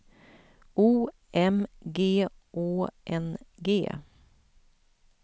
O M G Å N G